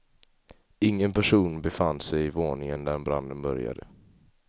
Ingen person befann sig i våningen när branden började.